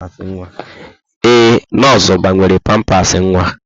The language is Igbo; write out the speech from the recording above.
Ee, nọọsụ gbanwere pampasị nwa.